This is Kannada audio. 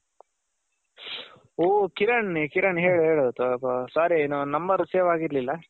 ಓ ಓ ಕಿರಣ್ ಕಿರಣ್ ಹೇಳ್ ಹೇಳ್ Sorry Number Save ಆಗಿರ್ಲಿಲ್ಲ.